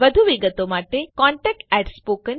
વધુ વિગતો માટે contactspoken tutorialorg પર સંપર્ક કરો